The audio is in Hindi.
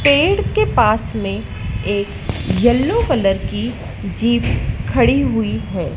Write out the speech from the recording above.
पेड़ के पास में एक येलो कलर की जीप खड़ी हुई है।